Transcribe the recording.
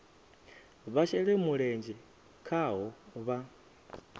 vha shele mulenzhe khaho vha